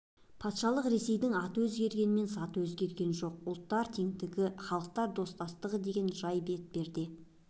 патшалық ресейдің аты өзгергенімен заты өзгерген жоқ ұлттар теңдігі халықтар достығы деген жай бет перде